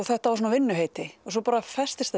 þetta var svona vinnuheiti sem festist